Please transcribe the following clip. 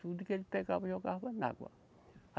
Tudo que ele pegava, jogava na água.